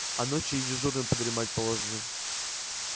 а ночью и дежурным подремать положено